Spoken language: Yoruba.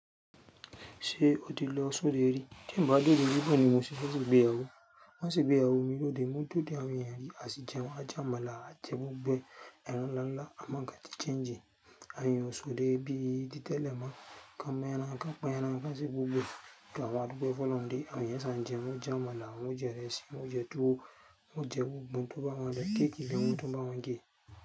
Ṣé o ti lọ sódè rí? Tí ń bá òde rí bawọ̀ ni mo ṣe fẹ́ ṣe ìgbéyàwó. Wọ́n sì gbéyàwó mi lóde mọ́ de odé àwọn èyàn rí, à sì jẹun àjẹ́ amọ́lá àje gbogbo ẹ ẹran nláńlá, àmọ̀ nkàn ti chańjì. À yọ sódè bí i ti tẹ́lẹ̀ mọ̀ọ́, ká mú ẹran, ká pa ẹran, ká ṣe gbogbo ẹ. Àmọ́ àdùpẹ̀ fún olọ̀huǹ de, àwo eyán ṣán jẹun wo jẹ́ amọ́lá, wo jẹ ìrẹsì, wo jẹ tuwo, wo jẹ gbogbo tó bá wà ní bẹ̀, caki gan, wo tu bá wọ̀n gé.